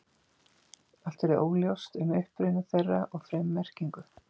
Allt er óljóst um uppruna þeirra og frummerkingu.